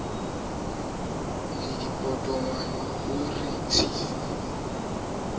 le dipotongwane ho re tshiu